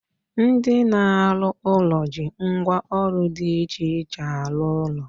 Ndị na-arụ ụlọ ji ngwa ọrụ dị iche iche arụ ọrụ.